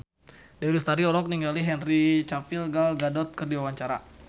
Dewi Lestari olohok ningali Henry Cavill Gal Gadot keur diwawancara